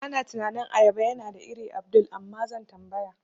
Bana tunanin ayaba yana da ire Abdul, Amma zan tambaya.